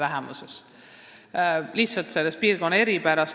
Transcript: See tuleneb lihtsalt selle piirkonna eripärast.